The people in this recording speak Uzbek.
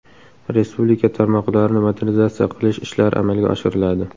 Respublika tarmoqlarini modernizatsiya qilish ishlari amalga oshiriladi.